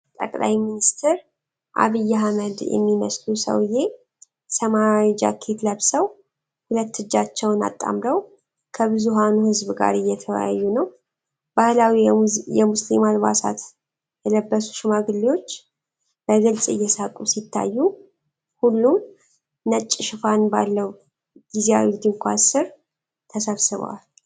ጠቅላይ ሚኒስትር ዐቢይ አህመድ የሚመስሉ ሰውዬ ሰማያዊ ጃኬት ለብሰው ሁለት እጃቸውን አጣምረው ከብዙሃኑ ህዝብ ጋር እየተወያዩ ነው። ባህላዊ የሙስሊም አልባሳት የለበሱ ሽማግሌዎች በግልጽ እየሳቁ ሲታዩ፣ ሁሉም ነጭ ሽፋን ባለው ጊዜያዊ ድንኳን ስር ተሰብስበዋል።